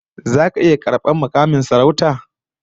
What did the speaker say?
Zaka iya karbar mukamin sarauta?